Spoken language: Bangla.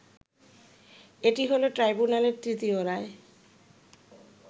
এটি হলো ট্রাইব্যুনালের তৃতীয় রায়